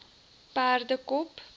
perdekop